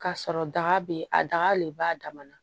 Ka sɔrɔ daga be a daga le b'a damana